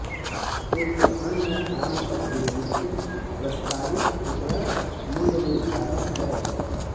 एक अन्य आम तकनीक प्रस्तावित खुदरा मूल्य निर्धारण है